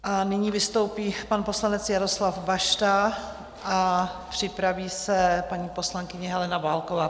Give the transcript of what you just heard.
A nyní vystoupí pan poslanec Jaroslav Bašta a připraví se paní poslankyně Helena Válková.